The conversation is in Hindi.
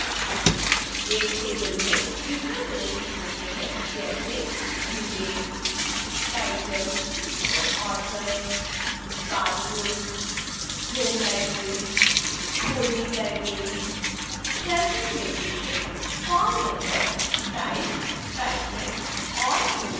एक table में विवरण प्रदर्शित होते हैं जैसेdue date title author barcode home library holding library shelving location call number type patron और note